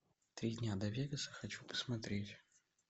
три дня до вегаса хочу посмотреть